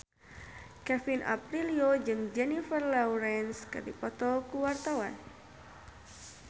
Kevin Aprilio jeung Jennifer Lawrence keur dipoto ku wartawan